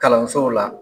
Kalansow la